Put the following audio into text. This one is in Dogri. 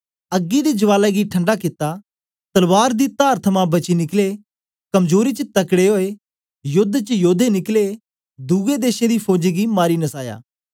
अग्गी दी ज्वाला गी ठंडा कित्ता तलवार दी तार थमां बची निकले कमजोरी च तकड़े ओए योद्द च योद्दे निकले दुए देशें दी फौजें गी मारी नसाया